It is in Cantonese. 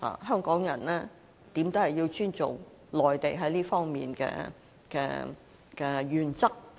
香港人始終要尊重內地在這方面的原則。